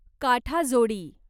काठाजोडी